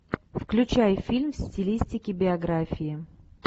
включай фильм в стилистике биографии